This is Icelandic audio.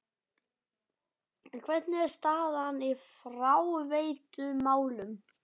En hvernig er staðan í fráveitumálum?